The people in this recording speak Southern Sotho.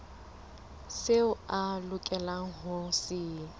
seo a lokelang ho se